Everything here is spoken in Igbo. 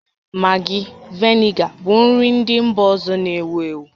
Maggi, vinega bụ nri ndị mba ọzọ na-ewu ewu